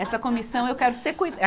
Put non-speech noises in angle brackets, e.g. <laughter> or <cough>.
Essa comissão eu quero seque <unintelligible>